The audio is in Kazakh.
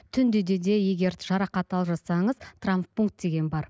түнде де егер жарақат алып жатсаңыз травмпункт деген бар